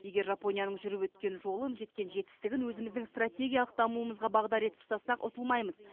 егер жапонияның жүріп өткен жолын жеткен жетістігін өзіміздің стратегиялық дамуымызға бағдар етіп ұстасақ ұтылмаймыз